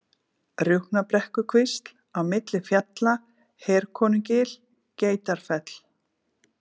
Rjúpnabrekkukvísl, Á milli fjalla, Herkonugil, Geitarfell